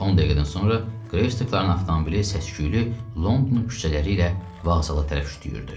10 dəqiqədən sonra Greystokların avtomobili səs-küylü London küçələri ilə vağzala tərəf şütüyürdü.